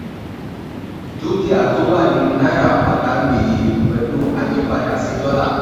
dúkìá tó wà nínú náírà pàdánù iye pẹ̀lú àyípadà sí dọ́là.